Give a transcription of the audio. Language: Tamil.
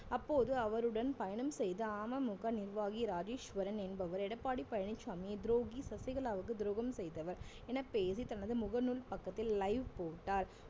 அப்போது அவருடன் பயணம் செய்த அமமுக நிர்வாகி ராஜேஸ்வரன் என்பவர் எடப்பாடி பழனிச்சாமி துரோகி சசிகலாவுக்கு துரோகம் செய்தவர் என பேசி தனது முகநூல் பக்கத்தில் live போட்டார்